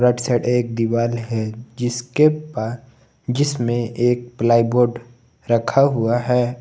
Right side एक दीवार है जिसके पास जिसमें एक प्लाई बोर्ड रखा हुआ है।